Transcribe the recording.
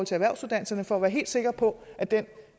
til erhvervsuddannelserne for at være helt sikre på at den